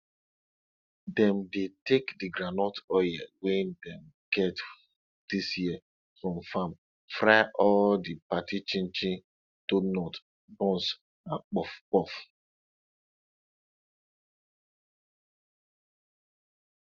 dem dey take the groundnut oil wey dem get dis year from farm fry all the party chinchin donut buns and puffpuff